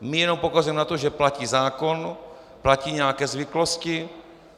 My jenom poukazujeme na to, že platí zákon, platí nějaké zvyklosti.